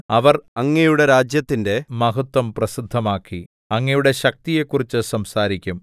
അവർ അങ്ങയുടെ രാജ്യത്തിന്റെ മഹത്വം പ്രസിദ്ധമാക്കി അങ്ങയുടെ ശക്തിയെക്കുറിച്ച് സംസാരിക്കും